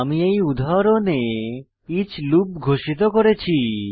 আমি এই উদাহরণে ইচ লুপ ঘোষিত করেছি